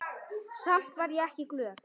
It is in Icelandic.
Samt var ég ekki glöð.